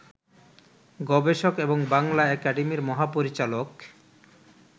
গবেষক এবং বাংলা একাডেমির মহাপরিচালক